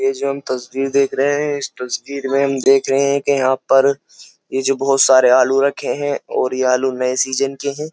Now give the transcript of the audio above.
ये जो हम तस्वीर देख रहे हैं इस तस्वीर में हम देख रहे हैं कि यहां पर ये जो बहुत सारे आलू रखे हैं और ये आलू नए सीजन के हैं।